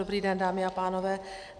Dobrý den, dámy a pánové.